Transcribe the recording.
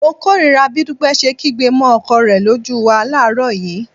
Mo kórìíra bí Dúpẹ́ ṣe kígbe mọ́ ọkọ rẹ lójú wa láàárọ̀ yìí